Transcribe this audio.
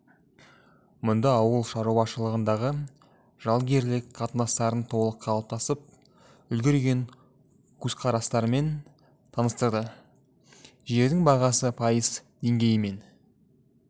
мұнда ауыл шаруашылығындағы жалгерлік қатынастардың толық қалыптасып үлгерген көзқарастарымен таныстырды жердің бағасы пайыз деңгейімен